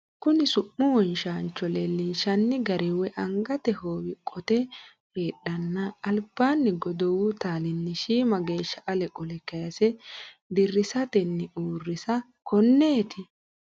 Kuni su’mu wonshaanchio leellinshanni gari woy angate hoowi qote heedheenna albaanni godowu taalinni shiima geeshsha ale qole kaase dirrisatenni uurrisa, konneeti?